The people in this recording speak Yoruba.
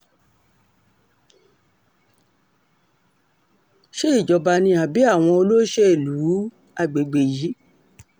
ṣe ìjọba ni àbí àwọn olóṣèlú um àgbègbè yìí